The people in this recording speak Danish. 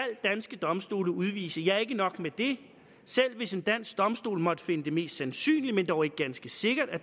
danske domstole udvise ja ikke nok med det selv hvis en dansk domstol måtte finde det mest sandsynligt men dog ikke ganske sikkert at